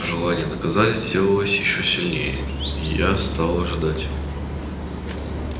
желание наказать сделалось ещё сильнее и я стал ожидать